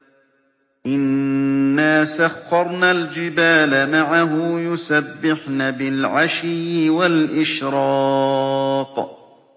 إِنَّا سَخَّرْنَا الْجِبَالَ مَعَهُ يُسَبِّحْنَ بِالْعَشِيِّ وَالْإِشْرَاقِ